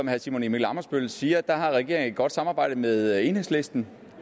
herre simon emil ammitzbøll siger har regeringen et godt samarbejde med enhedslisten